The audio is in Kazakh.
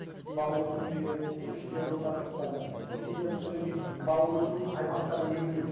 балық өсірудегі субсидиялау тақырыптары субсидия өнен кейін балық өсіру аймақтарын белгілеу